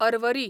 Arvari